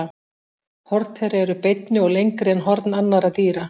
Horn þeirra eru beinni og lengri en horn annarra dýra.